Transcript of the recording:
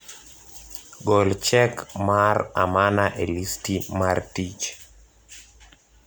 Gol chek mar amana e listi mar tich